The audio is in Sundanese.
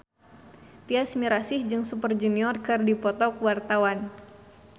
Tyas Mirasih jeung Super Junior keur dipoto ku wartawan